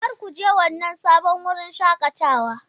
Kar ku je wannan sabon wurin shakatawa!